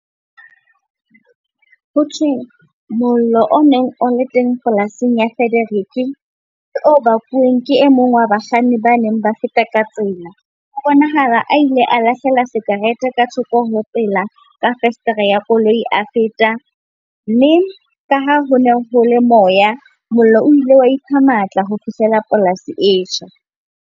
Ho thwe mollo o neng o le teng polasing ya Frederick, ke o bakuweng ke e mong wa bakganni ba neng ba feta ka tsela. Ho bonahala a ile a lahlela sikarete ka thoko ho tsela ka fesetere ya koloi a feta. Mme ka ha ho ne ho le moya, mollo o ile wa ipha matla ho fihlela polasi e tjha.